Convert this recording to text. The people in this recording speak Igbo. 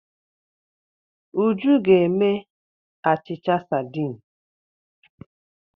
Uju ga-eme achịcha sadiin.